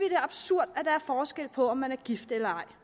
er absurd at der er forskel på om man er gift eller ej